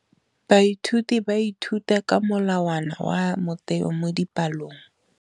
Baithuti ba ithuta ka molawana wa motheo mo dipalong.